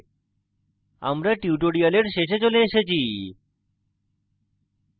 আমরা tutorial শেষে চলে এসেছি